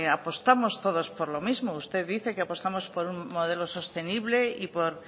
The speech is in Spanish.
apostamos todos por lo mismo usted dice que apostamos por un modelo sostenible o